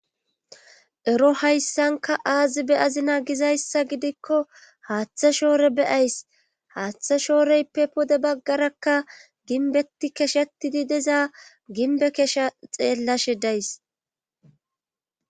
Ero hayssanka aazi be azina gizayssa gidikko haaththa shoore beyays haaththa shooreyppe pode baggarakka ginbeti keshetidi dezaa ginbe kesha xeellashe days